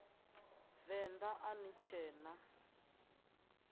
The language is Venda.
venḓa a ni tshee na